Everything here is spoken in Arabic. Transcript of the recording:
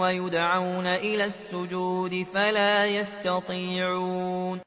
وَيُدْعَوْنَ إِلَى السُّجُودِ فَلَا يَسْتَطِيعُونَ